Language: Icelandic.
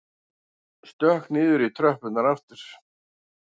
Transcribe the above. Stökk niður í tröppurnar aftur.